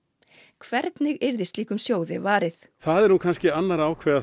hvernig yrði slíkum sjóði varið það er nú kannski annarra að ákveða